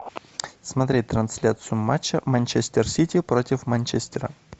смотреть трансляцию матча манчестер сити против манчестера